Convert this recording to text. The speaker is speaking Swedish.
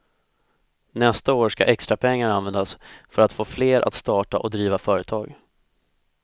Nästa år ska extra pengar användas för att få fler att starta och driva företag.